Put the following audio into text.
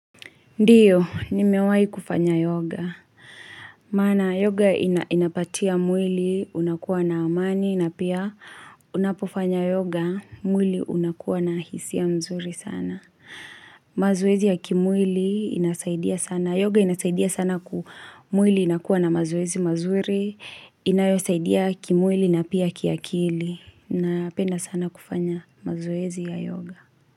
Ndiyo, nimewai kufanya yoga. Mana, yoga inapatia mwili unakuwa na amani na pia unapofanya yoga mwili unakuwa na hisia nzuri sana. Mazoezi ya kimwili inasaidia sana. Yoga inasaidia sana ku mwili inakuwa na mazwezi mazuri. Inayosaidia kimwili na pia kiakili. Napenda sana kufanya mazoezi ya yoga.